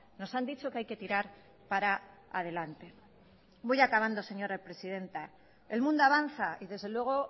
nos han dicho que hay que tirar para adelante voy acabando señora presidenta el mundo avanza y desde luego